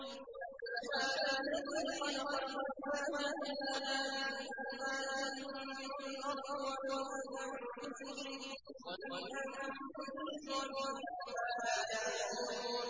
سُبْحَانَ الَّذِي خَلَقَ الْأَزْوَاجَ كُلَّهَا مِمَّا تُنبِتُ الْأَرْضُ وَمِنْ أَنفُسِهِمْ وَمِمَّا لَا يَعْلَمُونَ